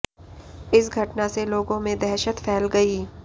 इस घटना से लोगों में दहशत फैल गई